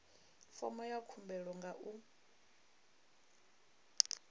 fomo ya khumbelo nga u